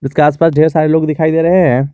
इसके आसपास ढेर सारे लोग दिखाई दे रहे हैं।